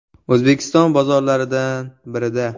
O‘zbekiston bozorlaridan birida.